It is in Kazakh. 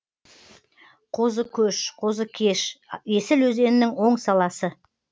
қозыкөш қозыкеш есіл өзенінің оң саласы